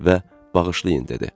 və “Bağışlayın!” dedi.